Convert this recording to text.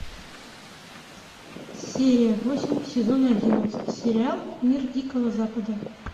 серия восемь сезон одиннадцать сериал мир дикого запада